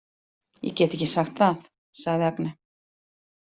Ég get ekki sagt það, sagði Agne.